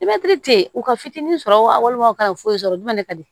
tɛ yen u ka fitinin sɔrɔ walima u kana foyi sɔrɔ duwa ne ka di